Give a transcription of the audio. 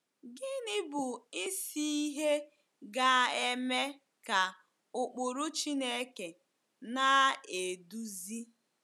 Gịnị bụ isi ihe ga-eme ka ụkpụrụ Chineke na-eduzi?